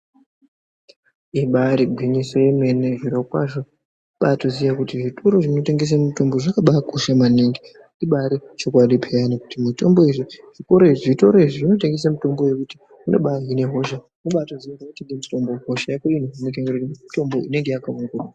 Ibaari gwinyiso yemeene, zvirokwazvo kubaatoziya kuti zvitoro zvinotengese mutombo zvakabaakosha maningi. Ibaari chokwadi peyani kuti zvitoro izvi zvinotengese mitombo yekuti unobaahine hosha kubaatotenge mutombo, hosha yako yohinika nemutombo inenge yakaongororwa.